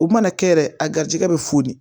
U mana kɛ yɛrɛ a garisigɛ bɛ foni